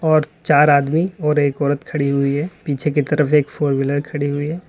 और चार आदमी और एक औरत खड़ी हुई है पीछे की तरफ एक फोर व्हीलर खड़ी हुई है।